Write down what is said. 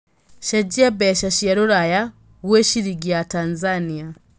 cenjĩa mbeca cia rũraya gwĩ ciringi ya Tanzania